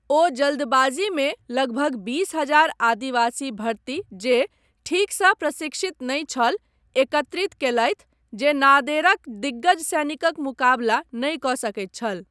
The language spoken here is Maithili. ओ जल्दबाजीमे लगभग बीस हजार आदिवासी भर्ती जे ठीकसँ प्रशिक्षित नहि छल, एकत्रित कयलथि जे नादेरक दिग्गज सैनिकक मुकाबला नहि कऽ सकैत छल।